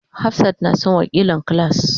Hafsat na son wakilan class.